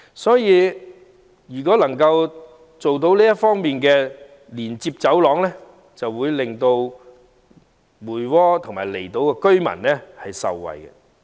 因此，如果這條連接走廊得以落實興建，將可令梅窩和離島居民受惠。